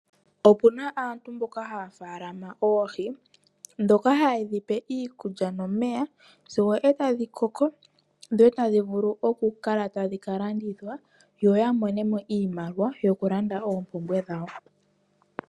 Opuna aantu mboka haya faalama oohi. Dhoka haye dhipe iikulya nomeya sigo etadhi koko. Dho etadhi vulu oku kala tadhi ka landithwa, yoya monemo iimaliwa yoku landa oompumbwe dhawo.